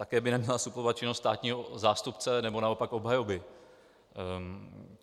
Také by neměla suplovat činnost státního zástupce nebo naopak obhajoby.